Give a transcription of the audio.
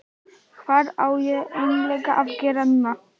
Hvað á ég eiginlega að gera núna???